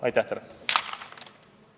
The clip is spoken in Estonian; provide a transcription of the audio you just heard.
Aitäh teile!